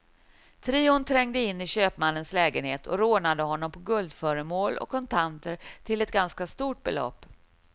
Trion trängde in i köpmannens lägenhet och rånade honom på guldföremål och kontanter till ett ganska stort belopp.